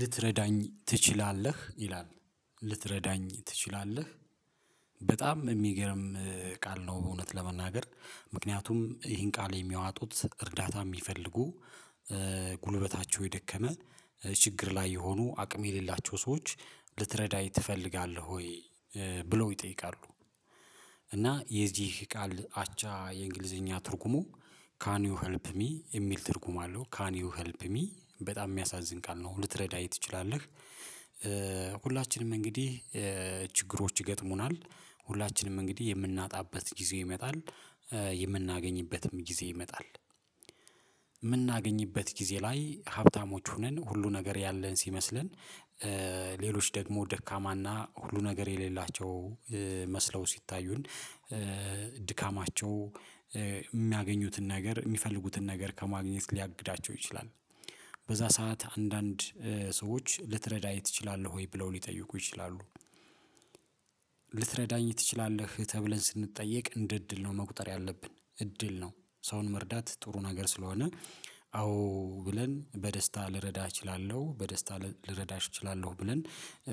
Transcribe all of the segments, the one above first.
ልትረዳኝ ትችላለህ? ይላል ልትረዳኝ ትችላለህ በጣም የሚገርም ቃል ነው እውነት ለመናገር ምክንያቱም ይህን ቃል የሚያዋጡት እርዳታ የሚፈልጉ፣ ጉልበታቸው የደከመ፣ ችግር ላይ የሆኑ አቅም የሌላቸው ሰዎች ልትረዳኝ ትፈልጋለህ ወይ ብለው ይጠይቃሉ። እና የዚህ ቃል አቻ የእንግሊዘኛ ትርጉሙ ካን ዩ ሄልፕ ሚ የሚል ትርጉም አለው ካን ዩ ሄልፕ ሚ በጣም የሚያሳዝን ቃል ነው ልትረዳ ትችላለህ፣ ሁላችንም እንግዲህ ችግሮች ይገጥሙናል፣ ሁላችንም እንግዲህ የምናጣበት ጊዜ ይመጣል የምናገኝበትም ጊዜ ይመጣል፣ የምናገኝበት ጊዜ ላይ ሀብታሞች ሁነን ሁሉ ነገር ያለን ሲመስለን ሌሎች ደግሞ ደካማና ሁሉ ነገር የሌላቸው መስለው ሲታዩን ድካማቸው የሚያገኙትን ነገር የሚፈልጉትን ነገር ከማግኘት ሊያግዳቸው ይችላል፣ በዛ ሰዓት አንዳንድ ሰዎች ልትረዳኝ ትችላለህ ወይ ብለው ሊጠይቁ ይችላሉ ልትረዳኝ ትችላለህ ተብለን ስንጠየቅ እንደ እድል ነው መቁጠር ያለብን እድል ነው ሰውን መርዳት ጥሩ ነገር ስለሆነ አዎ ብለን በደስታ ልረዳህ እችላለሁ በደስታ ልረዳሽ እችላለሁ ብለን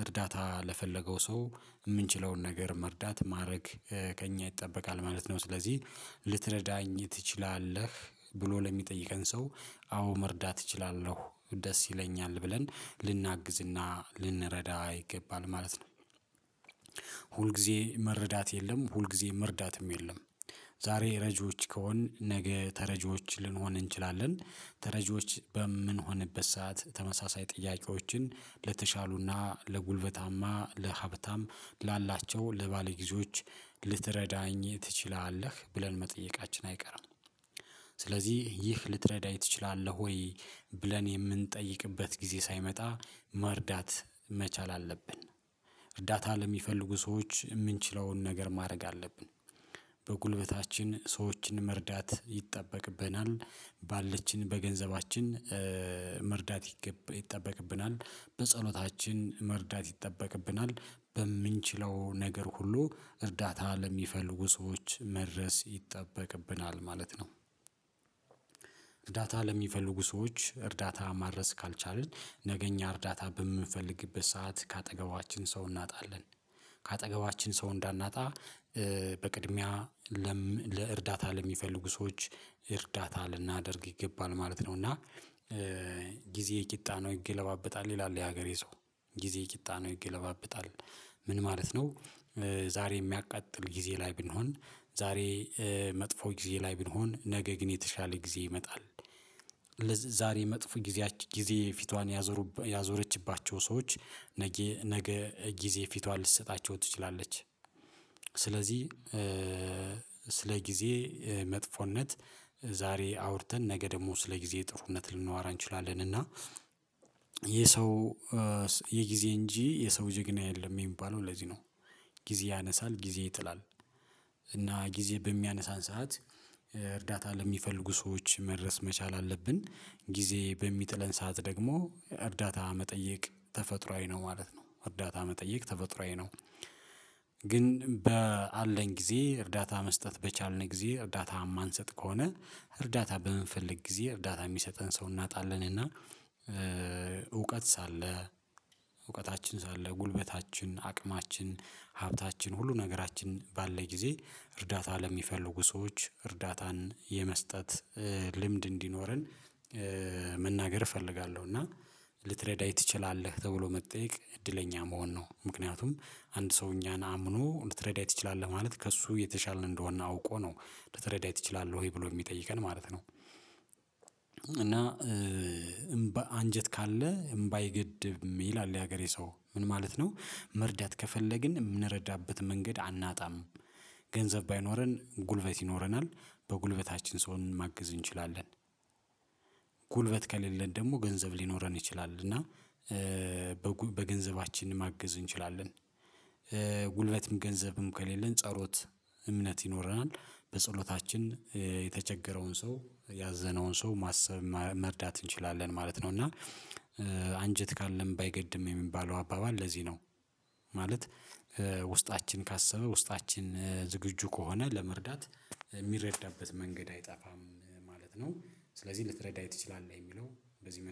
እርዳታ ለፈለገው ሰው የምንችለውን ነገር መርዳት ማድረግ ከእኛ ይጠበቃል ማለት ነው፤ ስለዚህ ልትረዳኝ ትችላለህ ብሎ ለሚጠይቀን ሰው አዎ መርዳት እችላለሁ ደስ ይለኛል ብለን ልናግዝና ልንረዳ ይገባል ማለት ነው። ሁል ጊዜ መረዳት የለም ሁልጊዜ መርዳትም የለም፣ ዛሬ ረጂዎች ከሆንን ነገ ተረጂዎች ልንሆን እንችላለን ተረጅዎች በምንሆንበት ሰዓት ተመሳሳይ ጥያቄዎችን ለተሻሉና ለጉልበታማ ለሀብታም ላላቸው ለባለጊዜዎች ልትረዳኝ ትችላለህ ብለን መጠየቃችን አይቀርም። ስለዚህ ይህ ልትረዳኝ ትችላለህ ወይ ብለን የምንጠይቅበት ጊዜ ሳይመጣ መርዳት መቻል አለብን እርዳታ ለሚፈልጉ ሰዎች የምንችለውን ነገር ማድረግ አለብን በጉልበታችን ሰዎችን መርዳት ይጠበቅብናል። በገንዘባችን መርዳት ይጠበቅብናል። በጸሎታችን መርዳት ይጠበቅብናል በምንችለው ነገር ሁሉ እርዳታ ለሚፈልጉ ሰዎች መድረስ ይጠበቅብናል ማለት ነው። እርዳታ ለሚፈልጉ ሰዎች እርዳታ ማድረስ ካልቻልን ነገ እኛ እርዳታ በምንፈልግበት ሰዓት ከአጠገባችን ሰው እናጣለን፣ ከአጠገባችን ሰው እንዳናጣ በቅድሚያ ለእርዳታ ለሚፈልጉ ሰዎች እርዳታ ልናደርግ ይገባል ማለት ነው እና ጊዜ ቂጣ ነው ይገለባበጣል ይላል የሀገሬ ሰው ጊዜ ቂጣ ነው ይገለባብጣል ምን ማለት ነው ዛሬ የሚያቃጥል ጊዜ ላይ ብንሆን ዛሬ መጥፎ ጊዜ ላይ ብንሆን ነገ ግን የተሻለ ጊዜ ይመጣል ዛሬ መጥፎ ጊዜ ፊቷን ያዞረችባቸው ሰዎች ነገ ነገ ጊዜ ፊቷን ልትሰጣቸው ትችላለች፣ ስለዚህ ስለ ጊዜ መጥፎነት ዛሬ አውርተን ነገ ደግሞ ስለ ጊዜ ጥሩነት ልናዎራ እንችላለን እና የሰው የጊዜ እንጂ የሰው ጀግና የለም የሚባለው ለዚህ ነው። ጊዜ ያነሳል ጊዜ ይጥላል እና ጊዜ በሚያነሳን ሰዓት እርዳታ ለሚፈልጉ ሰዎች መድረስ መቻል አለብን፣ ጊዜ በሚጥለን ሰዓት ደግሞ እርዳታ መጠየቅ ተፈጥሮአዊ ነው ማለት ነው እርዳታ መጠየቅ ተፈጥሮአዊ ነው ግን በአለን ጊዜ እርዳታ መስጠት በቻልን ጊዜ እርዳታ የማንሰጥ ከሆነ እርዳታ በምንፈልግ ጊዜ እርዳታ የሚሰጠን ሰው እናጣለን እና እውቀት ሳለ እውቀታችን ሳለ ጉልበታችን፣ አቅማችን፣ ሀብታችን ሁሉ ነገራችን ባለን ጊዜ እርዳታ ለሚፈልጉ ሰዎች እርዳታን የመስጠት ልምድ እንዲኖረን መናገር እፈልጋለሁ እና ልትረዳኝ ትችላለህ ተብሎ መጠየቅ እድለኛ መሆን ነው ምክንያቱም አንድ ሰው እኛን አምኖ ልትረዳኝ ትችላለህ ማለት ከእሱ የተሻልን እንደሆነ አውቆ ነው ልትረዳኝ ትችላለህ ወይ ብሎ የሚጠይቀን ማለት ነው። እና አንጀት ካለ እምባ አይገድብም ይላል የሀገሬ ሰው ምን ማለት ነው መርዳት ከፈለግን የምንረዳበት መንገድ አናጣም ገንዘብ ባይኖረን ጉልበት ይኖረናል በጉልበታችን ሰውን ማግዝ እንችላለን። ጉልበት ከሌለን ደግሞ ገንዘብ ሊኖረን ይችላል እና በገንዘባችን ማገዝ እንችላለን። ጉልበትም ገንዘብም ከሌለን ጸሎት እምነት ይኖረናል በጸሎታችን የተቸገረውን ሰው ያዘነውን ሰው ማሰብ መርዳት እንችላለን ማለት ነው እና አንጀት ካለን አይገድም የሚባለው አባባል ለዚህ ነው ማለት ውስጣችን ካሰበ ውስጣችን ዝግጁ ከሆነ ለመርዳት የሚረዳበት መንገድ አይጠፋም ማለት ነው ስለዚህ ልትረዳኝ ትችላለህ የሚለው በዚህ መንገድ